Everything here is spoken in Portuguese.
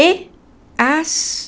E... As...